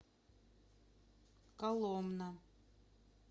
коломна